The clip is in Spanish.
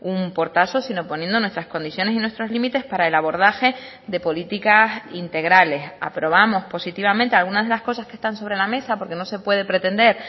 un portazo sino poniendo nuestras condiciones y nuestros límites para el abordaje de políticas integrales aprobamos positivamente algunas de las cosas que están sobre la mesa porque no se puede pretender